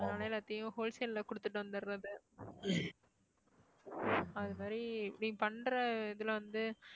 நானும் எல்லாத்தையும் wholesale ல குடுத்துட்டு வந்துர்றது அது மாதிரி இப்படி பண்ற இதுல வந்து